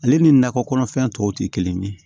Ale ni nakɔ kɔnɔfɛn tɔw tɛ kelen ye